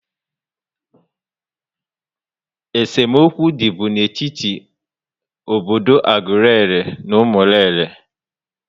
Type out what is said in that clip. É se mokwu dị bú n'etiti obodo Aguleri na Umuleri